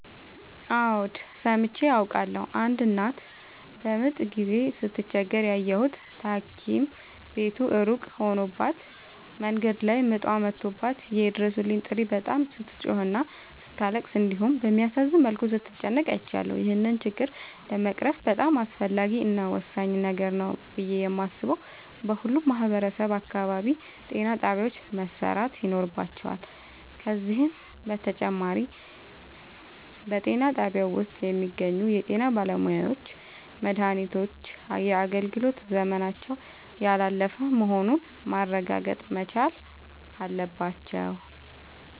አዎድ ሠምቼ አውቃለሁ። አንድ እናት በምጥ ጊዜ ስትቸገር ያየሁት ታኪም ቤቱ እሩቅ ሆኖባት መንገድ ላይ ምጧ መቶባት የይድረሡልኝ ጥሪ በጣም ስትጮህና ስታለቅስ እንዲሁም በሚያሳዝን መልኩ ስትጨነቅ አይቻለሁ። ይህን ችግር ለመቅረፍ በጣም አስፈላጊ እና ወሳኝ ነገር ነው ብሌ የማሥበው በሁሉም ማህበረሠብ አካባቢ ጤናጣቢያዎች መሠራት ይኖርባቸዋል። ከዚህም በተጨማሪ በጤናጣቢያው ውስጥ የሚገኙ የጤናባለሙያዎች መድሃኒቶች የአገልግሎት ዘመናቸው ያላለፈ መሆኑን ማረጋገጥ መቻል አለባቸው።